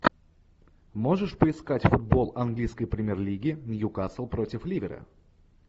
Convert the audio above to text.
можешь поискать футбол английской премьер лиги ньюкасл против ливера